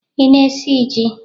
Ị na-esi ji?